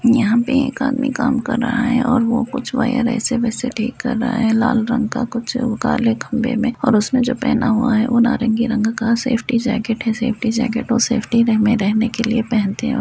यहाँं पे एक आदमी काम कर रहा है और वो कुछ वायर ऐसे वैसे ठीक कर रहा है। लाल रंग का कुछ काले खंबे में और उसने जो पहना हुआ है। वह नारंगी रंग का सेफ्टी जैकेट है। सेफ्टी जैकेट और सेफ्टी वे में रहने के लिए पहनते हैं।